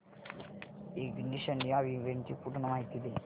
ignition या इव्हेंटची पूर्ण माहिती दे